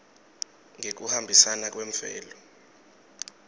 ngekuhambisana kwemvelo